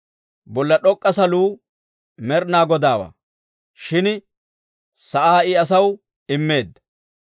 Bolla d'ok'k'a saluu Med'inaa Godaawaa; shin sa'aa I asaw immeedda.